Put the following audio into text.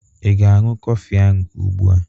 Ị ga-aṅụ kọfị ahụ ugbu a?